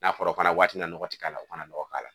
N'a fɔra fana waati na nɔgɔ ti k'a la u kana nɔgɔ k'a la